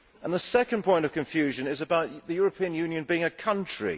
The second point of confusion is about the European Union being a country.